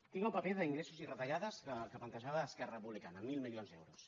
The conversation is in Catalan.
tinc el paper d’ingressos i retallades que plantejava d’esquerra republicana mil milions d’euros